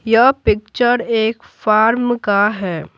यह पिक्चर एक फार्म का है।